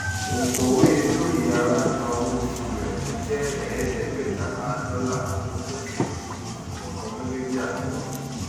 onkọwé olóyèara gba owó òṣù rẹ tó jẹ ẹẹdẹgbẹẹtalá dọlà ní ọjọ kẹẹẹdógún oṣù kọọkan gẹgẹ bí àdéhùn